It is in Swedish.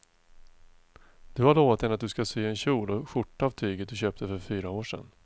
Du har lovat henne att du ska sy en kjol och skjorta av tyget du köpte för fyra år sedan.